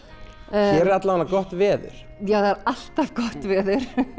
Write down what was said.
er gott veður það er alltaf gott veður